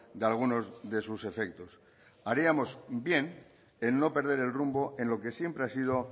de algunos de sus efectos haríamos bien en no perder el rumbo en lo que siempre ha sido